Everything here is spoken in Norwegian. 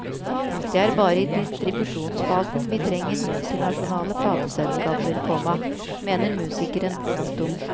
Det er bare i distribusjonsfasen vi trenger multinasjonale plateselskaper, komma mener musikeren. punktum